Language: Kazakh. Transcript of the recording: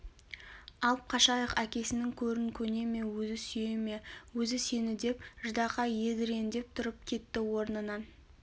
алып қашайық әкесінің көрін көне ме өзі сүйеме өзі сені деп ждақай едірендеп тұрып кетті орнынан